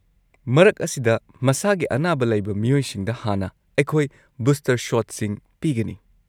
ꯃꯔꯛ ꯑꯁꯤꯗ ꯃꯁꯥꯒꯤ ꯑꯅꯥꯕ ꯂꯩꯕ ꯃꯤꯑꯣꯏꯁꯤꯡꯗ ꯍꯥꯟꯅ ꯑꯩꯈꯣꯏ ꯕꯨꯁꯇꯔ ꯁꯣꯠꯁꯤꯡ ꯄꯤꯒꯅꯤ꯫